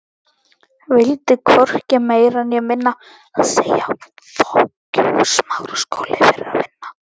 Vildi hvorki meira né minna.